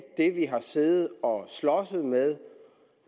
det vi har siddet og slåsset med